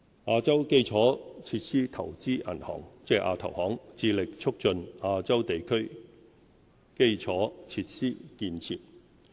亞洲基礎設施投資銀行致力促進亞洲地區基礎設施建設。